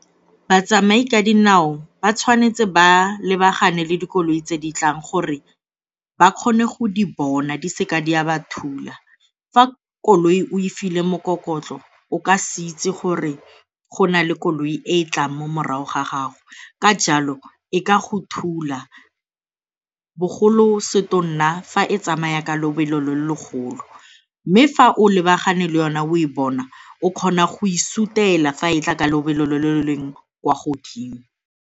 Batsamai ka dinao ba tshwanetse ba lebagane le dikoloi tse di tlang gore ba kgone go di bona di seka di a ba thula. Fa koloi o e file mokokotlo o ka se itse gore go na le koloi e e tlang mo morago ga gago ka jalo e ka go thula bogolo setotona fa e tsamaya ka lobelo le legolo. Mme fa o lebagane le yona o e bona, o kgona go e sutela fa e tla ka lobelo lo lo lo leng kwa godimo.